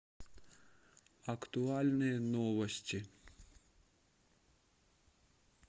актуальные новости